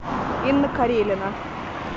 инна карелина